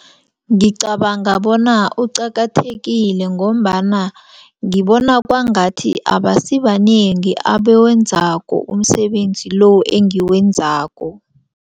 Ngicabanga bona uqakathekile ngombana ngibona kwangathi abasibanengi abawenzako umsebenzi lo engiwenzako.